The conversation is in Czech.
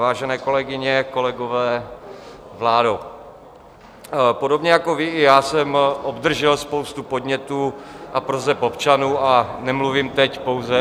Vážené kolegyně, kolegové, vládo, podobně jako vy, i já jsem obdržel spoustu podnětů a proseb občanů a nemluvím teď pouze...